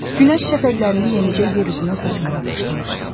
Günəş şəfəqlərini yenicə yer üzünə saçmağa başlamışdı.